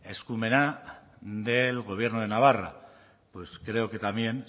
eskumena del gobierno de navarra pues creo que también